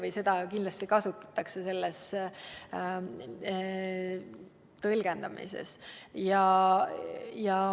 Seda tõlgendamisel kindlasti kasutatakse.